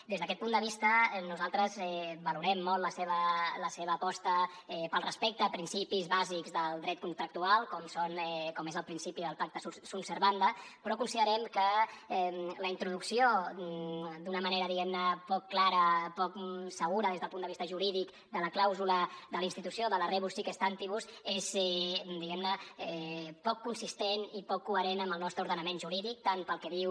des d’aquest punt de vista nosaltres valorem molt la seva aposta pel respecte a principis bàsics del dret contractual com és el principi del pacta sunt servanda però considerem que la introducció d’una manera diguem ne poc clara poc segura des del punt de vista jurídic de la clàusula de la institució de la rebus sic stantibus és diguem ne poc consistent i poc coherent amb el nostre ordenament jurídic tant pel que diu